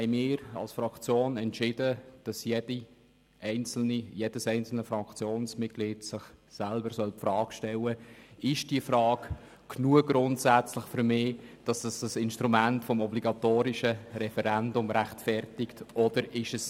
Wir haben als Fraktion entschieden, dass sich jedes einzelne Fraktionsmitglied selber die Frage stellen soll, ob es diesen Punkt grundsätzlich als ausreichend gegeben betrachtet, sodass das Instrument des obligatorischen Referendums gerechtfertigt wäre.